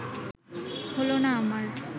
হলো না আমার